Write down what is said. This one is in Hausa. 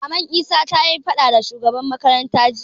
Maman isa tayi faɗa da shugaban makaranta jiya